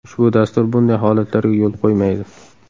Ushbu dastur bunday holatlarga yo‘l qo‘ymaydi.